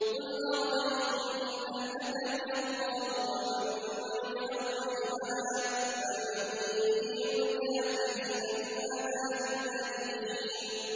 قُلْ أَرَأَيْتُمْ إِنْ أَهْلَكَنِيَ اللَّهُ وَمَن مَّعِيَ أَوْ رَحِمَنَا فَمَن يُجِيرُ الْكَافِرِينَ مِنْ عَذَابٍ أَلِيمٍ